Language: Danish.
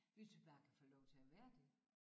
Hvis vi bare kan få lov til at være det